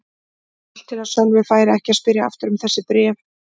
Allt til að Sölvi færi ekki að spyrja aftur um þessi bréf.